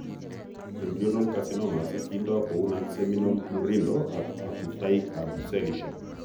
Embryonal carcinomas kindoo kou nonseminal murindo ak agutaik ab cellisiek